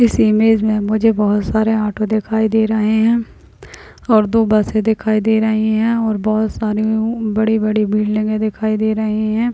इस इमेज मे मुझे बहुत सारे ऑटो दिखाई दे रहे है और दो बसे दिखाई दे रही है और बहुत सारी बड़ी बड़ी बिल्डिंगे दिखाई दे रही है।